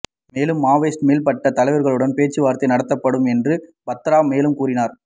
மேலும் மாவோயிஸ்ட் மேல்மட்ட தலைவர்களுடன் பேச்சுவார்த்தை நடத்தப்படும் என்றும் பத்ரா மேலும் கூறினார்